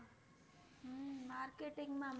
હમ Marketing માં મળે